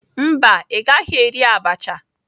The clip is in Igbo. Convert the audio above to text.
Mba, ị gaghị eri abacha